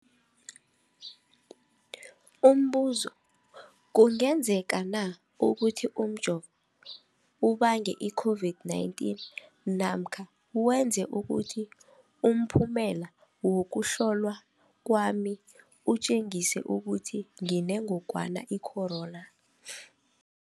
Umbuzo, kungenzekana ukuthi umjovo ubange i-COVID-19 namkha wenze ukuthi umphumela wokuhlolwa kwami utjengise ukuthi nginengogwana i-corona?